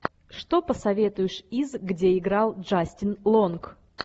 что посоветуешь из где играл джастин лонг